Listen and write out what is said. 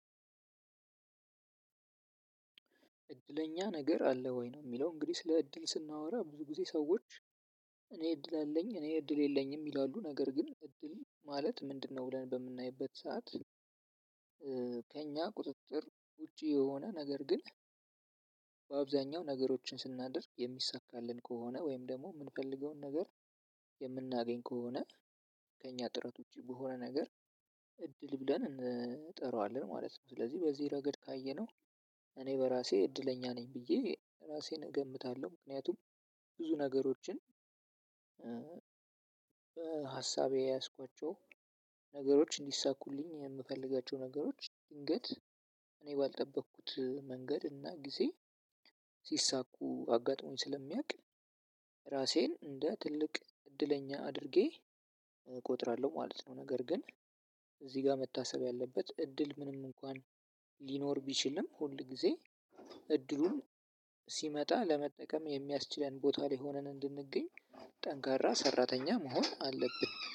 እድለኛ ነገር አለ ወይ ነው የሚለው እንግዲህ ስለ እድል ስናወራ ብዙ ጊዜ ሰዎች እኔ እድል አለኝ እኔ እድል የለኝም ይላሉ ነገር ግን እድል ማለት ምንድነው? ብለን በምናይበት ሰዓት ከእኛ ቁጥጥር ውጪ የሆነ ነገር ግን በአብዛኛው ነገሮችን ስናደርግ የሚሳካልን ከሆነ ወይም ደግሞ የምንፈልገውን ነገር የምናገኝ ከሆነ ከእኛ ጥረት ውጪ በሆነ ነገር እድል ብለን እንጠራዋለን ማለት ነው። ስለዚህ በዚህ ረገድ ካየነው። እኔ በራሴ እድለኛ ነኝ ብዬ ራሴን እገምታለሁ። ምክንያቱም ብዙ ነገሮችን በ ሀሳቤ የያዝኳቸው ነገሮች እንዲሳኩልኝ የሚፈልጋቸው ነገሮች ድንገት እኔ ባልጠበኩት መንገድና ጊዜ ስሳኩ አጋጥሞኝ ስለሚያውቅ ራሴን እንደ ትልቅ እድለኛ አድርጌ እቆጥራለሁ ማለት ነው። ነገር ግን እዚህ ጋር መታሰብ ያለበት እድል ምንም እንኳን ሊኖር ቢችልም ሁል ጊዜ እድሉን ሲመጣ ለመጠቀም የሚያስችለን ቦታ ላይ ሆነን እንድንገኝ ጠንካራ ሰራተኛ መሆን አለብን